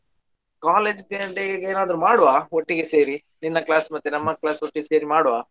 College day day ಗೆ ಎನಾದ್ರು ಮಾಡುವಾ ಒಟ್ಟಿಗೆ ಸೇರಿ ನಿನ್ನ class ಮತ್ತೆ ನನ್ನ class ಒಟ್ಟಿಗೆ ಸೇರಿ ಮಾಡುವಾ?